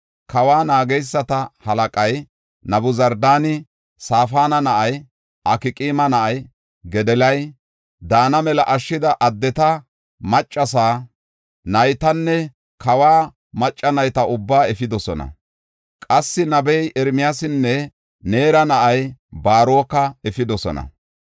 Kawa naageysata halaqay Nabuzardaani Safaana na7aa, Akqaama na7aa Godoliyara daana mela ashshida addeta, maccasa, naytanne kawa macca nayta ubbaa efidosona. Qassi nabiya Ermiyaasanne Neera na7aa Baaroka efidosona.